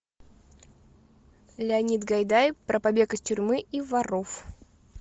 леонид гайдай про побег из тюрьмы и воров